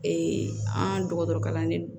an dɔgɔtɔrɔ kalanden